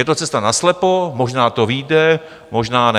Je to cesta naslepo, možná to vyjde, možná ne.